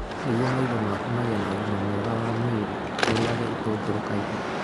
Nĩguo maitho maku magĩe na ũgima mwega wa mwĩrĩ, ũrĩage itũngũrũ kaingĩ.